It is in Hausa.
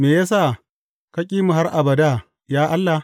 Me ya sa ka ƙi mu har abada, ya Allah?